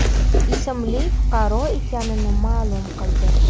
ismli fuqaro ekanini ma’lum qildi.